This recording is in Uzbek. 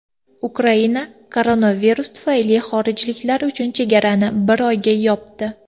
Ukraina koronavirus tufayli xorijliklar uchun chegaralarini bir oyga yopdi.